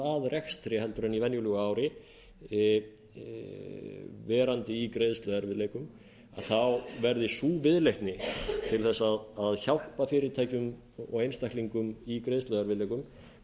að rekstri heldur en í venjulegu ári verandi í greiðsluerfiðleikum þá verði sú viðleitni til að hjálpa fyrirtækjum og einstaklingum í greiðsluerfiðleikum